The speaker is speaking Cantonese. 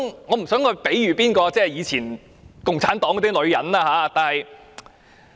我不想把李議員比作以前共產黨的女人。